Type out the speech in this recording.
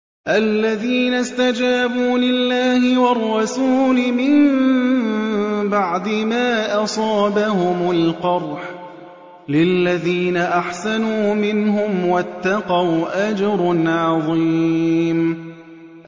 الَّذِينَ اسْتَجَابُوا لِلَّهِ وَالرَّسُولِ مِن بَعْدِ مَا أَصَابَهُمُ الْقَرْحُ ۚ لِلَّذِينَ أَحْسَنُوا مِنْهُمْ وَاتَّقَوْا أَجْرٌ عَظِيمٌ